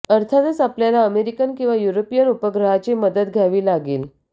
अर्थातच आपल्याला अमेरिकन किंवा युरोपियन उपग्रहाची मदत घ्यावी लागेल